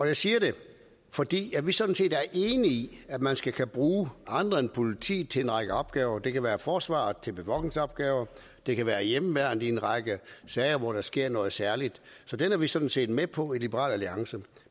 jeg siger det fordi vi sådan set er enige i at man skal kunne bruge andre end politiet til en række opgaver det kan være forsvaret til bevogtningsopgaver det kan være hjemmeværnet i en række sager hvor der sker noget særligt så det er vi sådan set med på i liberal alliance